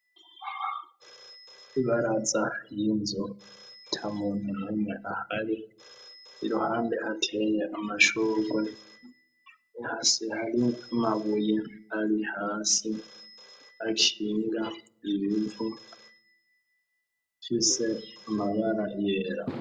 Ibaraza y'inzu ata muntu n'umwe ahari . Iruhande ateye amashugwe ,hasi hari mabuye ,ari hasi haciye imivo ifise mabara yera.